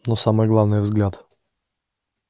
но самое главное взгляд